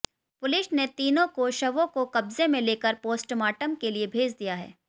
police ने तीनों को शवों को कब्जे में लेकर पोस्टमार्टम के लिए भेज दिया है